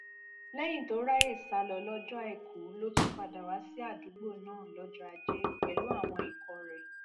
lẹyìn tó ráàyè sá lọ lọjọ àìkú ló tún padà wá sí àdúgbò náà lọjọ ajé pẹlú àwọn ikọ rẹ